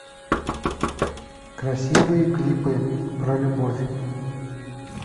красивые клипы про любовь